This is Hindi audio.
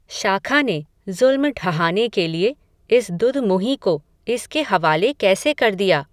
शाखा ने, ज़ुल्म ढहाने के लिये, इस दुधमुंही को, इसके हवाले कैसे कर दिया